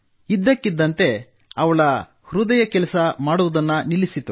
ಇದ್ದಕ್ಕಿದ್ದಂತೆ ಅವಳ ಹೃದಯ ಕೆಲಸ ಮಾಡುವುದನ್ನು ನಿಲ್ಲಿಸಿತು